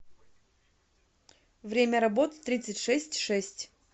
время работы тридцать шесть шесть